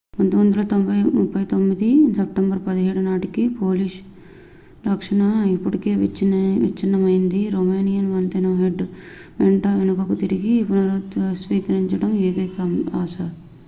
1939 సెప్టెంబరు 17 నాటికి పోలిష్ రక్షణ అప్పటికే విచ్ఛిన్నమైంది రోమేనియన్ వంతెన హెడ్ వెంట వెనుకకు తిరిగి పునర్వ్యవస్థీకరించడానికి ఏకైక ఆశ